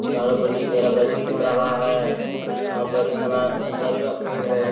चारों पत्ती घेरा बंधी हो रहा हैं बरी सना बारिश बादियो पेड़ हैं।